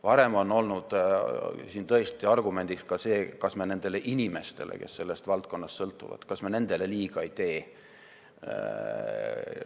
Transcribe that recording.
Varem on olnud tõesti argumendiks ka see, et ega me nendele inimestele, kes sellest valdkonnast sõltuvad, liiga ei tee.